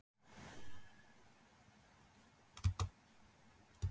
Hver hafi stofnað til viðskiptanna?